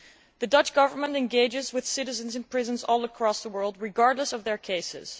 The Dutch Government engages with citizens in prisons all over the world regardless of their cases.